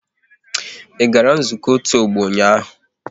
I gara nzukọ otu ọgbọ ụnyaahụ?